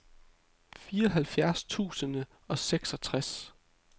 fireoghalvfjerds tusind og seksogtres